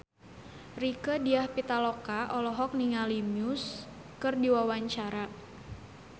Rieke Diah Pitaloka olohok ningali Muse keur diwawancara